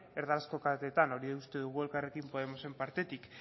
erdarazko kateetan hori uste dugu elkarrekin podemosen partetik